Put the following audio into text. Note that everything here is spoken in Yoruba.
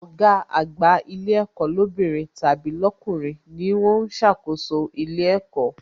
Ọ̀gá àgbà ilé ẹ̀kọ́ lóbìnrin tàbí lọkunrin ni ó ń ṣàkóso ilé ẹ̀kọ́